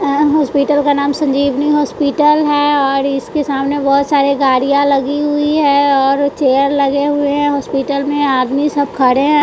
अ hospital का नाम Sanjeevani hospital है और इसके सामने बहुत सारे गाड़ियाँ लगी हुई है और चेयर लगे हुए हैं हॉस्पिटल में आदमी सब खड़े हैं।